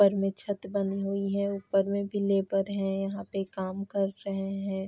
घर में छत बनी हुई है। ऊपर में भी लेबर है यहाँ पे काम कर रहें हैं।